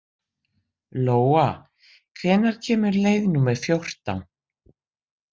Lóa, hvenær kemur leið númer fjórtán?